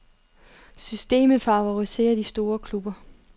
Systemet favoriserer de store klubber.